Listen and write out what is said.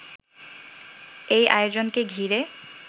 এই আয়োজনকে ঘিরে